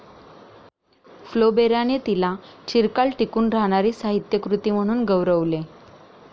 फ्लोबेराने तिला 'चिरकाल टिकून राहणारी साहित्यकृती' म्हणून गौरवले.